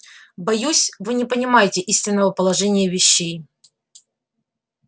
боюсь вы не понимаете истинного положения вещей